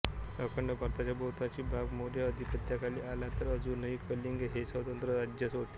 अखंड भारताचा बहुतांशी भाग मौर्य अधिपत्याखाली आला तरी अजूनही कलिंग हे स्वतंत्र राज्यच होते